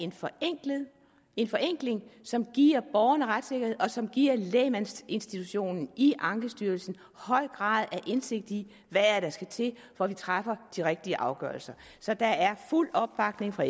en forenkling som giver borgerne retssikkerhed og som giver lægmandsinstitutionen i ankestyrelsen høj grad af indsigt i hvad der skal til for at vi træffer de rigtige afgørelser så der er fuld opbakning fra